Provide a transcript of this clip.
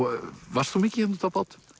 varst þú mikið hérna úti á bát